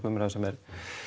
umræðu sem